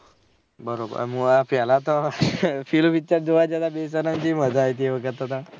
બરોબર અને આ પેહલા તો પેલું picture જોવા જતા તો કેવી મજા આયી થી એ વખત તો તન